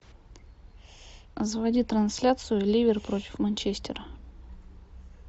заводи трансляцию ливер против манчестера